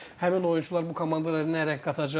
Həmin oyunçular bu komandalara nə rəng qatacaq?